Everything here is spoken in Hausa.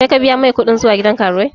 Kai ka biya mai kuɗin zuwa gidan karuwai?